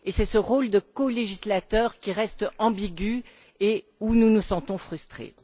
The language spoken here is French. Et c'est ce rôle de colégislateur qui reste ambigu et où nous nous sentons frustrés.